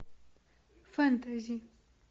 фэнтези